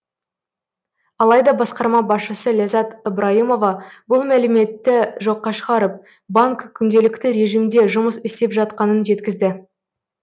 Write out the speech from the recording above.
алайда басқарма басшысы ләззат ыбрайымова бұл мәліметті жоққа шығарып банк күнделікті режимде жұмыс істеп жатқанын жеткізді